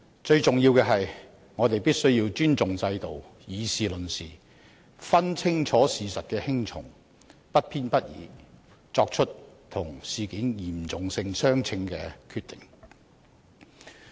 最重要的是，我們必須尊重制度，以事論事，分清事實輕重，不偏不倚地作出與事件嚴重性相稱的決定。